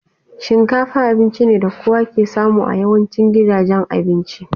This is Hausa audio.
Shinkafa abinci ne na kowa ke samu a yawancin gidajen abinci.